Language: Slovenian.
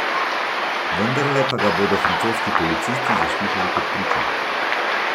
Vendarle pa ga bodo francoski policisti zaslišali kot pričo.